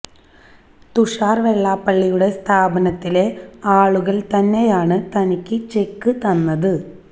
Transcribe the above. തുഷാര് വെള്ളാപ്പള്ളിയുടെ സ്ഥാപനത്തിലെ ആളുകള് തന്നെയാണ് തനിക്ക് ചെക്ക് തന്നത്